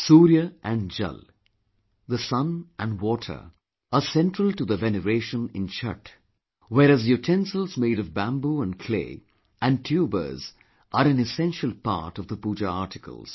Surya & Jal The Sun & Water are central to the veneration in Chhath, whereas utensils made of bamboo & clay and tubers are an essential part of the Pooja articles